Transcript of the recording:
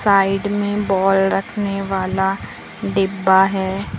Side में ball रखने वाला डिब्बा है।